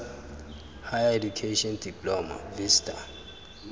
d higher education diploma vista